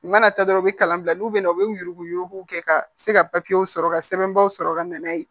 U mana taa dɔrɔn u bi kalan bila n'u bɛna u bɛ yurugu yurugu kɛ ka se ka papiyew sɔrɔ ka sɛbɛnbaaw sɔrɔ ka na n'a ye